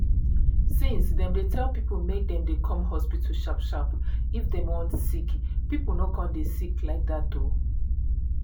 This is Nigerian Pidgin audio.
since dem tell people make dem dey come hospital sharp sharp if dem wan sick people no con too dey sick like that o.